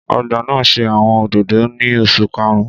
Ọgba naa ṣe awọn ododo ni oṣu karun